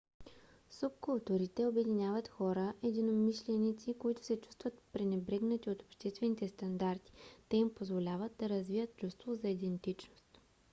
субкултурите обединяват хора-единомишленици които се чувстват пренебрегнати от обществените стандарти. те им позволяват да развият чувство за идентичност